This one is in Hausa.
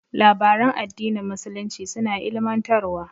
Labaran addinin musulunci suna ilimantarwa.